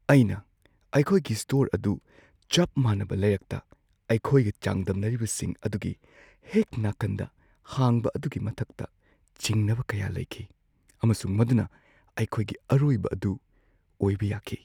ꯑꯩꯅ ꯑꯩꯈꯣꯢꯒꯤ ꯁ꯭ꯇꯣꯔ ꯑꯗꯨ ꯆꯞ ꯃꯥꯟꯅꯕ ꯂꯩꯔꯛꯇ ꯑꯩꯈꯣꯏꯒ ꯆꯥꯡꯗꯝꯅꯔꯤꯕꯁꯤꯡ ꯑꯗꯨꯒꯤ ꯍꯦꯛ ꯅꯥꯀꯟꯗ ꯍꯥꯡꯕ ꯑꯗꯨꯒꯤ ꯃꯇꯥꯡꯗ ꯆꯤꯡꯅꯕ ꯀꯌꯥ ꯂꯩꯈꯤ ꯑꯃꯁꯨꯡ ꯃꯗꯨꯅ ꯑꯩꯈꯣꯢꯒꯤ ꯑꯔꯣꯢꯕ ꯑꯗꯨ ꯑꯣꯏꯕ ꯌꯥꯈꯤ꯫